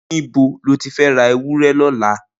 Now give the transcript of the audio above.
Nibo ló ti fẹ̀ rà éwùrẹ̀ lọlá?